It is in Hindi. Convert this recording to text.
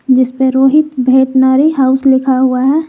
जिसपे रोहित भेटनरी हाउस लिखा हुआ है।